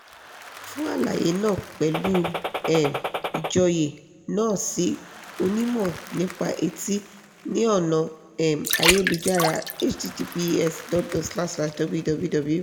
fún àlàyé náà pẹ̀lú um ìjọ́yé náà sí onímọ̀ nípa etí ní ọ̀nà um ayélujára --> https://www